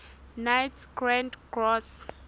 knights grand cross